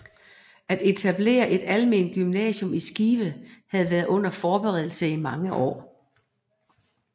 At etablere et almen gymnasium i Skive havde været under forberedelse i mange år